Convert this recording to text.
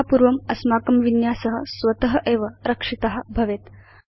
यथापूर्वम् अस्माकं विन्यास स्वत एव रक्षित भवेत्